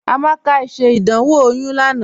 Amaka ṣẹ́ ìdánwò oyún lánà